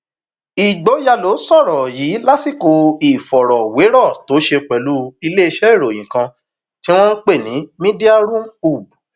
ìgboyàló sọrọ yìí lásìkò ìfọrọwérọ tó ṣe pẹlú iléeṣẹ ìròyìn kan tí wọn ń pè ní mediaroomhoob